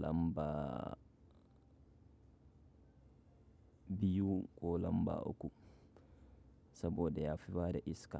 lamba biyu ko lamba uku saboda ya fi bada iska.